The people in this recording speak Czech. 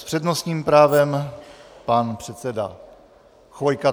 S přednostním právem pan předseda Chvojka.